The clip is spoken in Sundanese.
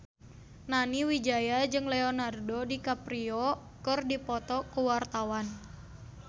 Nani Wijaya jeung Leonardo DiCaprio keur dipoto ku wartawan